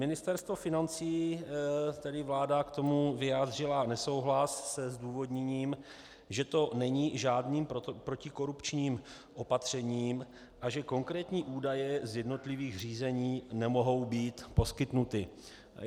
Ministerstvo financí, tedy vláda k tomu vyjádřila nesouhlas se zdůvodněním, že to není žádným protikorupčním opatřením a že konkrétní údaje z jednotlivých řízení nemohou být poskytnuty.